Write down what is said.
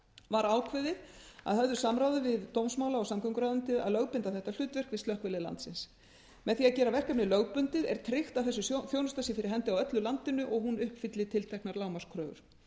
var ákveðið að höfðu samráði við dómsmála og samgönguráðuneytið að lögbinda þetta hlutverk við slökkvilið landsins með því að gera verkefni lögbundið er tryggt að þessi þjónusta sé fyrir hendi á öllu landinu og hún uppfylli tilteknar lágmarkskröfur